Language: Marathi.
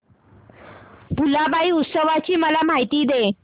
भुलाबाई उत्सवाची मला माहिती दे